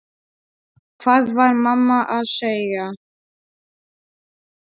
Hvað var mamma að segja?